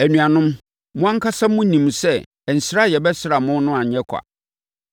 Anuanom, mo ankasa monim sɛ nsra a yɛbɛsraa mo no anyɛ ɔkwa.